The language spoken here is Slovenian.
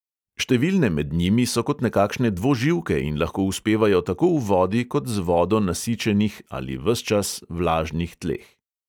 Številne med njimi so kot nekakšne dvoživke in lahko uspevajo tako v vodi kot z vodo nasičenih ali ves čas vlažnih tleh.